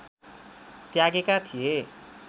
त्यागेका थिए